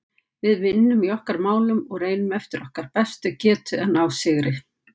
Við vinnum í okkar málum og reynum eftir okkar bestu getu að ná sigri.